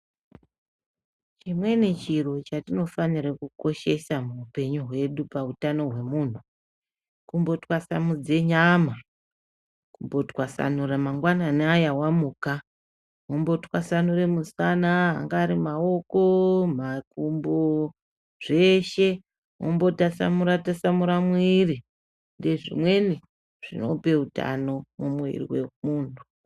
Chimweni chiro chatinofanira kukoshesa muupenyu hwedu, pautano hwemunhu kumbotwasanudze nyamaa, kumbotwasanura mangwanani aya wamuka, wombotsvasanure musana, angari ari maoko, makumbooo zveshee wombotasanura twlasanura muiri , ndezvimweni zvinope utano mumwuviri wemuntu.